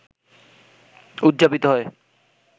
উদযাপিত হয়